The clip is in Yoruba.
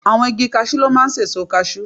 Àwọn igi casú ló máa ń sèso kasú